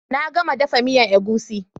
Na gama dafa miyan egusi